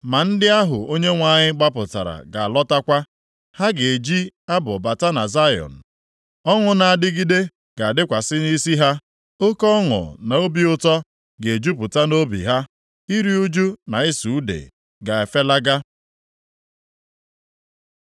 Ma ndị ahụ Onyenwe anyị gbapụtara ga-alọtakwa. Ha ga-eji abụ bata na Zayọn; ọṅụ na-adịgide ga-adịkwasị nʼisi ha. Oke ọṅụ na obi ụtọ ga-ejupụta nʼobi ha. Iru ụjụ na ịsụ ude + 35:10 Ya bụ, ize ume ga-efelaga.